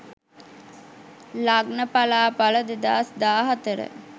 lagna palapala 2014